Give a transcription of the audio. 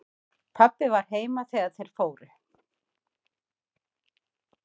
Pabbi var heima þegar þeir fóru.